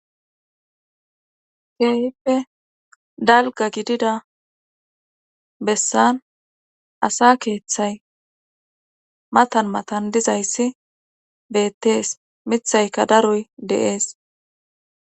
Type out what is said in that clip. keehippe dalga gidida bessan asa keeththay matan matan dizayssi beettees mithayka daroy de'ees